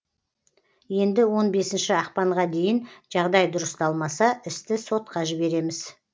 енді он бесінші ақпанға дейін жағдай дұрысталмаса істі сотқа жібереміз